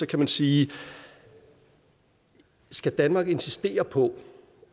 kan man sige skal danmark insistere på